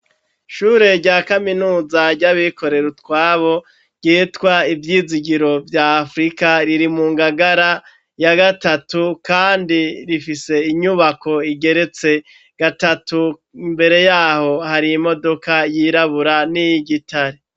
Ishure rya kaminuza, ry'abikorera utwabo, ryitwa Ivyizigiro vya Afrika, riri mu Ngagara ya gatatu kandi rifise inyubako igeretse gatatu, imbere y'aho, hari imodoka yirabura n'iyigitare.